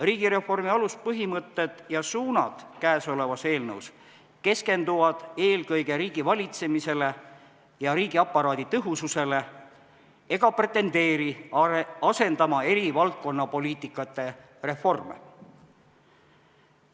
Riigireformi aluspõhimõtted ja suunad käesolevas eelnõus keskenduvad eelkõige riigivalitsemisele ja riigiaparaadi tõhususele ega pretendeeri asendama eri valdkonnapoliitikate reforme.